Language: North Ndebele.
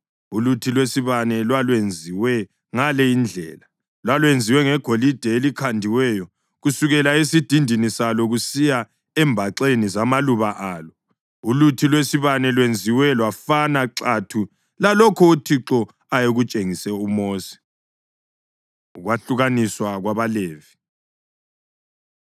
Uluthi lwesibane lwalwenziwe ngale indlela: Lwalwenziwe ngegolide elikhandiweyo kusukela esidindini salo kusiya embaxeni zamaluba alo. Uluthi lwesibane lwenziwa lwafana xathu lalokho uThixo ayekutshengise uMosi. Ukwahlukaniswa KwabaLevi